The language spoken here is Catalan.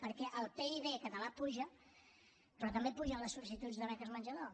perquè el pib català puja però també pugen les sol·licituds de beques menjador